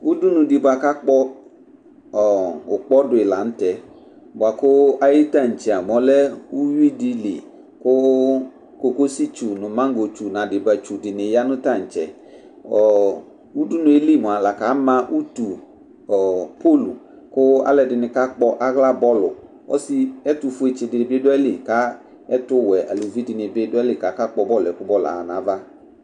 Udunudɩ bʋa ka kpɔ ʋkpɔ dʋ yi la n'tɛ bua kʋ ayʋ tantse a mʋ ɔlɛ uyuidɩli kʋ cocositsu n'adɩbatsu dɩnɩ ya nʋ tantse Ɔɔ Udunu yɛ li mua laka ma utu ɔɔ Polu kʋ alʋɛdɩnɩ ka aɣla bɔlʋ Ɔsɩ ɛtufuɛtsɩ dɩ bɩ dʋ ayili ka ɛtʋwɛ alevidɩnɩ bɩ d ʋ ayili k'aka kpɔ bɔlʋ yɛ kʋ bɔlʋ yɛ ama n'ava